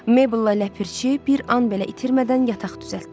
Meybəl və ləpirçi bir an belə itirmədən yataq düzəltdilər.